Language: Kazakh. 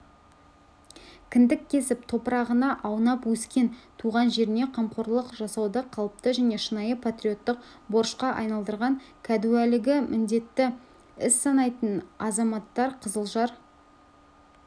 кіндік кесіп топырағына аунап өскен туған жеріне қамқорлық жасауды қалыпты және шынайы патриоттық борышқа айналдырған кәдуілгі міндетті іс санайтын азаматтар қызылжар